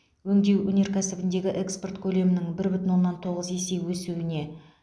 өңдеу өнеркәсібіндегі экспорт көлемінің бір бүтін оннан тоғыз есе өсуін